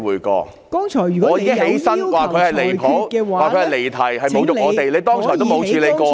我已經站起來，說他離譜，說他離題，侮辱我們，你剛才也沒有處理過？